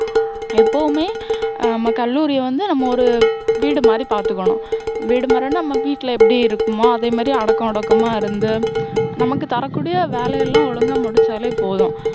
எப்போவுமே, ஹம் நம்ம கல்லூரிய வந்து, நம்ம ஒரு வீடு மாதிரி பாத்துக்கணும். வீடு மாதிரின்னா, நம்ம வீட்டுல எப்படி இருப்போமோ, அதே மாதிரி அடக்கம் ஒடுக்கமா இருந்து, நமக்கு தர கூடிய வேலை எல்லாம் ஒழுங்கா முடிச்சாலே போதும்.